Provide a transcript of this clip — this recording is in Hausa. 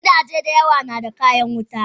Gidaje da yawa nada kayan wuta.